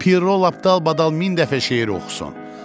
Piro lap dalbadal min dəfə şeir oxusun.